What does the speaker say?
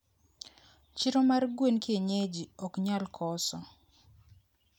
chiro mar gwen kienyeji oknyalkoso